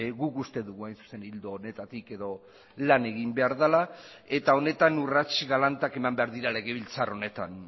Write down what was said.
guk uste dugu hain zuzen ildo honetatik edo lan egin behar dela eta honetan urrats galantak eman behar dira legebiltzar honetan